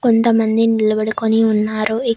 కొంతమంది నిలబడుకొని ఉన్నారు ఇక్--